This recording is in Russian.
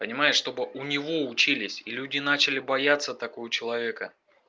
понимаешь чтобы у него учились и люди начали бояться такого человека